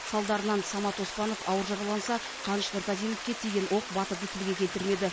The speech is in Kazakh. салдарынан самат оспанов ауыр жараланса қаныш нұртазиновке тиген оқ батырды тілге келтірмеді